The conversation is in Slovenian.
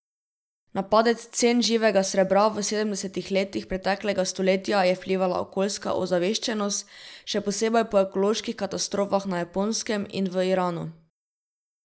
Na padec cen živega srebra v sedemdesetih letih preteklega stoletja je vplivala okoljska ozaveščenost, še posebej po ekoloških katastrofah na Japonskem in v Iranu.